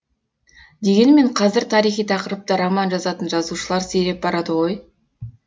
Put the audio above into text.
дегенмен қазір тарихи тақырыпта роман жазатын жазушылар сиреп барады ғой